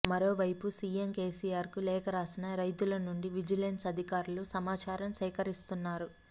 మరోవైపు సీఎం కేసీఆర్ కు లేఖ రాసిన రైతుల నుండి విజులెన్స్ అధికారులు సమాచారం సేకరిస్తున్నారు